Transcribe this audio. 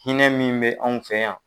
Hinɛ min be anw fɛ yan.